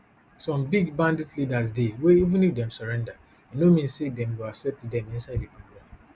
some big bandit leaders dey wey even if dem surrender e no mean say dem go accept dem inside di program